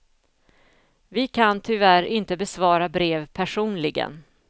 Vi kan tyvärr inte besvara brev personligen.